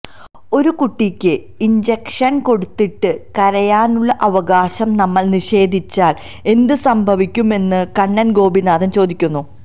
ഒരു കുട്ടിക്ക് ഇൻജക്ഷൻ കൊടുത്തിട്ട് കരയാനുള്ള അവകാശം നമ്മൾ നിഷേധിച്ചാൽ എന്ത് സംഭവിക്കുമെന്നും കണ്ണൻ ഗോപിനാഥൻ ചോദിക്കുന്നു